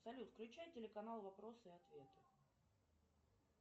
салют включай телеканал вопросы и ответы